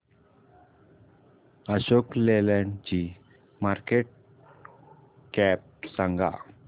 अशोक लेलँड ची market cap सांगा